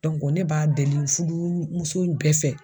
ne b'a deli fudumuso bɛɛ fɛ